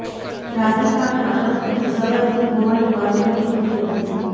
રાધિકા અને અનંતની સગાઈ થઈ હોવાની વાતો વહેતી થઈ હતી